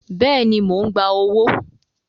Bẹ́ẹ̀ni, mò ń gba owó